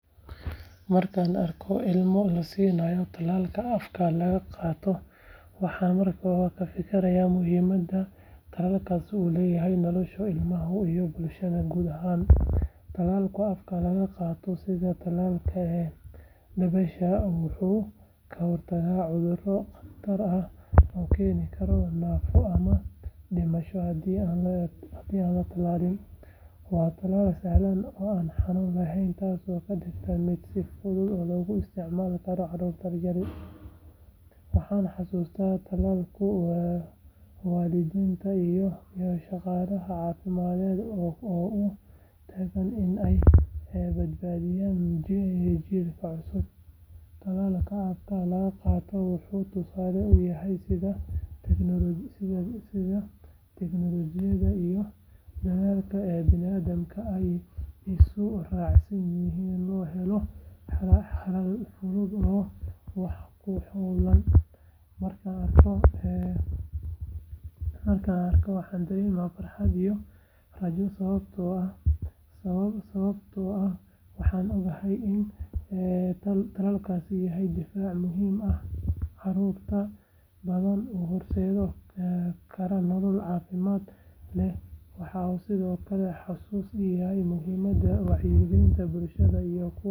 Marka aan arko ilmo la siinayo tallaalka afka laga qaato waxaan markiiba ka fikiraa muhiimadda tallaalkaas u leeyahay nolosha ilmaha iyo bulshada guud ahaan. Tallaalka afka laga qaato sida tallaalka dabaysha wuxuu ka hortagaa cudurro khatar ah oo keeni kara naafo ama dhimasho haddii aan la tallaalin. Waa tallaal sahlan oo aan xanuun lahayn taasoo ka dhigaysa mid si fudud loogu isticmaali karo carruurta yaryar. Waxaan xasuustaa dadaalka waalidiinta iyo shaqaalaha caafimaadka ee u taagan in ay badbaadiyaan jiilka cusub. Tallaalka afka laga qaato wuxuu tusaale u yahay sida tiknoolajiyadda iyo dadaalka bini’aadamka ay isu raaceen si loo helo xalal fudud oo wax ku ool ah. Markaan arko waxaan dareemaa farxad iyo rajo sababtoo ah waxaan ogahay in tallaalkaasi yahay difaac muhiim ah oo carruur badan u horseedi kara nolol caafimaad leh. Waxa uu sidoo kale xasuusin ii yahay muhiimadda wacyigelinta bulshada iyo ka qeybgalka.